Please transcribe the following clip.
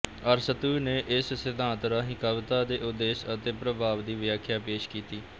ਅਰਸਤੂ ਨੇ ਇਸ ਸਿਧਾਂਤ ਰਾਹੀਂ ਕਵਿਤਾ ਦੇ ਉਦੇਸ਼ ਅਤੇ ਪ੍ਰਭਾਵ ਦੀ ਵਿਆਖਿਆ ਪੇਸ਼ ਕੀਤੀ